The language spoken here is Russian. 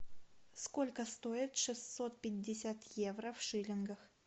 сколько стоит шестьсот пятьдесят евро в шиллингах